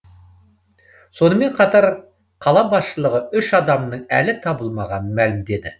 сонымен қатар қала басшылығы үш адамның әлі табылмағанын мәлімдеді